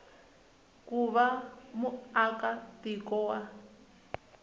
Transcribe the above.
ku va muaka tiko wa